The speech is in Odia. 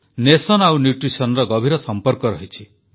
ଦେଶର ବିକାଶ ଓ ପୋଷଣ ମଧ୍ୟରେ ଗଭୀର ସମ୍ପର୍କ ରହିଛି